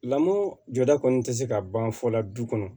Lamɔ jɔda kɔni tɛ se ka ban fɔ la du kɔnɔ